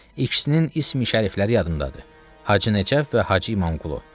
İkisinin ismi-şərifləri yadımdadır: Hacı Nəcəf və Hacı İmamqulu.